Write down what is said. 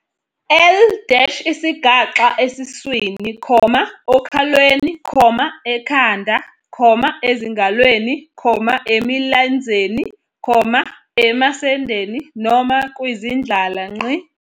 L - Isigaxa esiswini, okhalweni, ekhanda, ezingalweni, emilenzeni, emasendeni noma kwizindlala.